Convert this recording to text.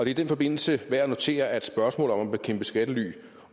i den forbindelse værd at notere at spørgsmål om at bekæmpe skattely